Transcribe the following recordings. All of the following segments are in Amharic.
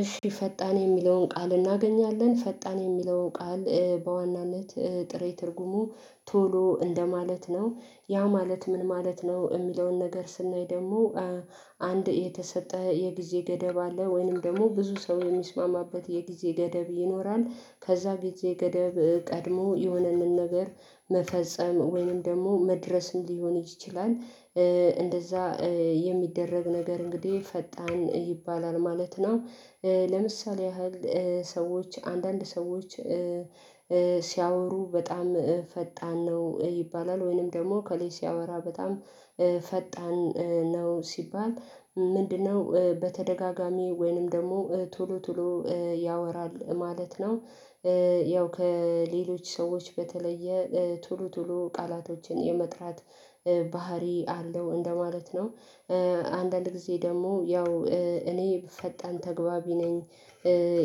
እሺ ፈጣን የሚለውን ቃል እናገኛለን ፈጣን የሚለውን ቃል በዋናነት ጥሬ ትርጉሙ ቶሎ እንደማለት ነው ያ ማለት ምን ማለት ነው የሚለውን ነገር ስናይ ደግሞ አንድ የተሰጠ የጊዜ ገደብ አለ ወይንም ደግሞ ብዙ ሰው የሚስማማበት የጊዜ ገደብ ይኖራል ከዛ ጊዜ የገደብ ቀድሞ የሆነን ነገር መፈጸም ወይንም ደግሞ መድረስ ሊሆን ይችላል እንደዛ የሚደረግ ነገር እንግዲህ ፈጣን ይባላል ማለት ነው። ለምሳሌ ያህል ሰዎች አንዳንድ ሰዎች ሲያወሩ በጣም ፈጣን ነው ይባላል ወይንም ደግሞ እከሌ ሲያወራ በጣም ፈጣን ነው ሲባል ምንድነው በተደጋጋሚ ወይንም ደግሞ ቶሎ ቶሎ ያወራል ማለት ነው። ያው ከሌሎች ሰዎች በተለየ ቶሎ ቶሎ ቃላቶችን የመጥራት ባህሪ አለው እንደማለት ነው አንዳንድ ጊዜ ደግሞ ያው እኔ ፈጣን ተግባቢ ነኝ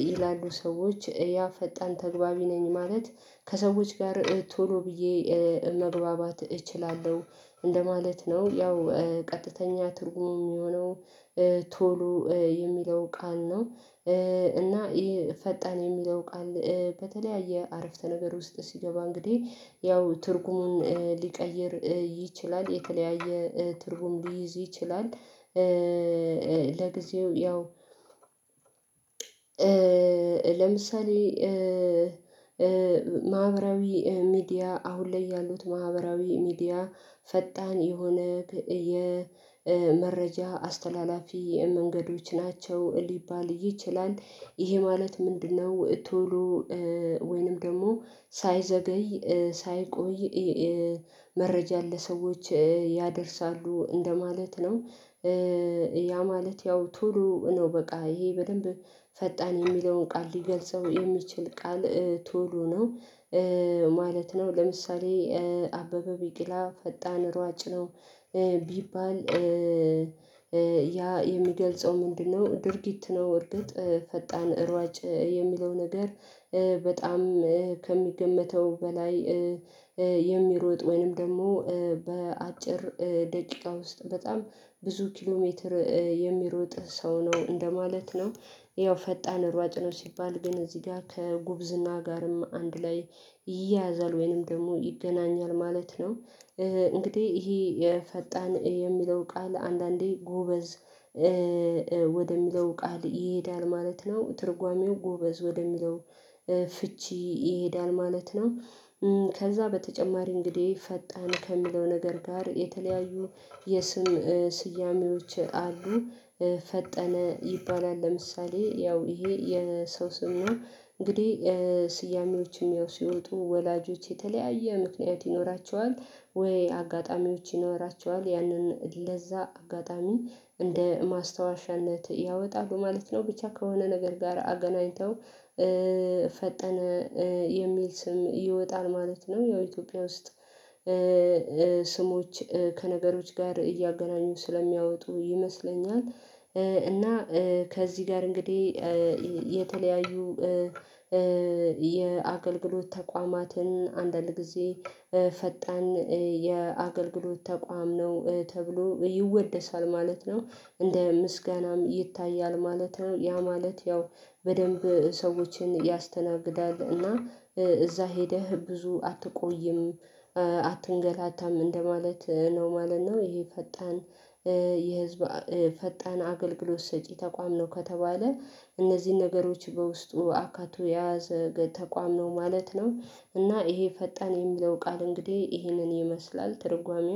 ይላሉ ሰዎች ያ ፈጣን ተግባቢ ነኝ ማለት ከሰዎች ጋር ቶሎ ብዬ መግባባት እችላለሁ እንደማለት ነው ያው ቀጥተኛ ትርጉሙ የሚሆነው ቶሎ የሚለው ቃል ነው እና ይሄ ፈጣን የሚለው ቃል በተለያየ አረፍተ ነገር ውስጥ ሲገባ እንግዲህ ያው ትርጉሙን ሊቀይር ይችላል፣ የተለያየ ትርጉም ሊይዝ ይችላል፣ ለጊዜው ያው ለምሳሌ ማህበራዊ ሚዲያ አሁን ላይ ያሉት ማህበራዊ ሚዲያ ፈጣን የሆነ የመረጃ አስተላላፊ መንገዶች ናቸው ሊባል ይችላል ይሄ ማለት ምንድነው ቶሎ ወይንም ደግሞ ሳይዘገይ ሳይቆይ መረጃን ለሰዎች ያደርሳሉ እንደማለት ነው። ያ ማለት ያው ቶሎ ነው በቃ ይሄ በደንብ ፈጣን የሚለውን ቃል ሊገልጸው የሚችል ቃል ቶሎ ነው ማለት ነው ለምሳሌ አበበ ቢቂላ ፈጣን ሯጭ ነው ቢባል ያ የሚገልጸው ምንድነው ድርጊት ነው በርግጥ ፈጣን ሯጭ የሚለው ነገር በጣም ከሚገመተው በላይ የሚሮጥ ወይንም ደግሞ በአጭር ደቂቃ ውስጥ በጣም ብዙ ኪሎ ሜትር የሚሮጥ ሰው ነው እንደማለት ነው። ያው ፈጣን ሯጭ ነው ሲባል ግን እዚህ ጋር ከጉብዝና ጋርም አንድ ላይ ይያያዛል ወይንም ደግሞ ይገናኛል ማለት ነው እንግዲህ ይሄ የፈጣን የሚለው ቃል አንዳንዴ ጎበዝ ወደሚለው ቃል ይሄዳል ማለት ነው ትርጓሜው ጎበዝ ወደሚለው ፍቺ ይሄዳል ማለት ነው። ከዛ በተጨማሪ እንግዲህ ፈጣን ከሚለው ነገር ጋር የተለያዩ የስም ስያሜዎች አሉ ፈጠነ ይባላል ለምሳሌ ያው ይሄ የሰው ስም ነው እንግዲህ ስያሜዎችም ያው ሲወጡ ወላጆች የተለያየ ምክንያት ይኖራቸዋል፣ ወይ አጋጣሚዎች ይኖራቸዋል ያንን ለዛ አጋጣሚ እንደ ማስታወሻነት ያወጣሉ ማለት ነው ብቻ ከሆነ ነገር ጋር አገናኝተው ፈጠነ የሚል ስም ይወጣል ማለት ነው ያው ኢትዮጵያ ውስጥ ስሞች ከነገሮች ጋር እያገናኙ ስለሚያወጡ ይመስለኛል እና ከዚህ ጋር እንግዲህ የተለያዩ የአገልግሎት ተቋማትን አንዳንድ ጊዜ ፈጣን የአገልግሎት ተቋም ነው ተብሎ ይወደሳል ማለት ነው እንደ ምስጋናም ይታያል ማለት ነው። ያ ማለት ያው በደንብ ሰዎችን ያስተናግዳል እና እዛ ሄደህ ብዙ አትቆይም አትንገላታም እንደማለት ነው ማለት ነው። ይሄ ፈጣን የህዝብ ፈጣን አገልግሎት ሰጪ ተቋም ነው ከተባለ እነዚህን ነገሮች በውስጡ አካቶ የያዘ ተቋም ነው ማለት ነው እና ይሄ ፈጣን የሚለው ቃል እንግዲህ ይሄንን ይመስላል ትርጓሜው።